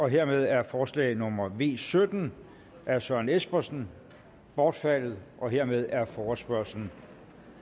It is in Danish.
hermed er forslag nummer v sytten af søren espersen bortfaldet og hermed er forespørgslen